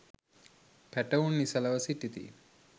පැටවුන් නිසලව සිටිති.